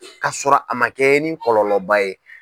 Ka sɔrɔ a ma kɛ ni kɔlɔba ye.